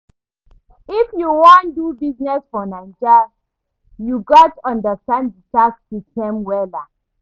If you wan do business for Naija, you gats understand di tax system wella.